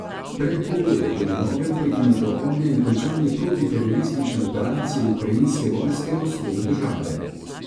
Predpogoj je po njegovem prekinitev ognja in končanje protiteroristične operacije ukrajinske vojske na vzhodu države.